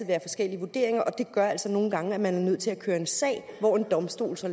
være forskellige vurderinger og det gør altså nogle gange er nødt til at køre en sag hvor en domstol så